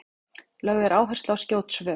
lögð er áhersla á skjót svör